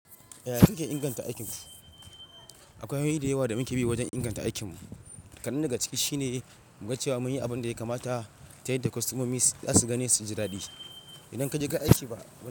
Yaya kake inganta aikin ku? Akwai hanyoyi da yawa da muke bi wajen inganta aikinmu. Ƙadan daga ciki shine mu ga cewa mun yi abin da ya kamata ta yadda kwastomomi za su gani su ji daɗi. Idan kajeka aiki fa.